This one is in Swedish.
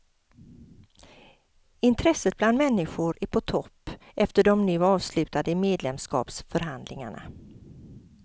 Intresset bland människor är på topp efter de nu avslutade medlemskapsförhandlingarna.